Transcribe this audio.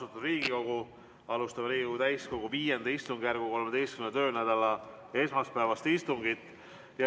Austatud Riigikogu, alustame Riigikogu täiskogu V istungjärgu 13. töönädala esmaspäevast istungit.